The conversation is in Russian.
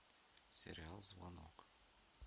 сериал звонок